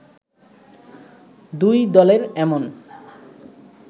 দুই দলের এমন